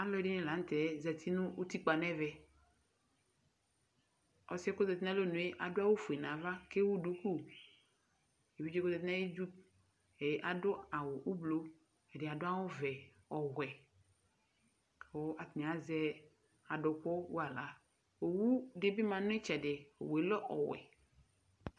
Alʋɛdɩnɩla n'tɛ zati nʋ utikpa n'ɛvɛƆsɩ yɛ k'ozati n'alɔnʋ yɛ adʋ awʋ fue n'ava k'ewu duku Evidze k'ozati n'ayidu, adʋ awʋ ʋblʋ, adɩ adʋ awʋ vɛ, ɔwɛ kʋ atanɩ azɛ adʋkʋ wala Owu dɩ bɩ ma n'ɩtsɛdɩ, owu yɛ lɛ ɔwɛ